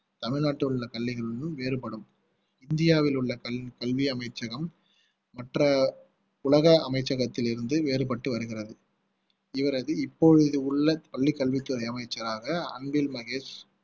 தமிழ்நாட்டில் உள்ள கல்விகளிலும் வேறுபடும் இந்தியாவில் உள்ள கல்வி அமைச்சகம் மற்ற உலக அமைச்சகத்தில் இருந்து வேறுபட்டு வருகிறது இவரது இப்பொழுது உள்ள பள்ளி கல்வித்துறை அமைச்சராக அன்பில் மகேஷ்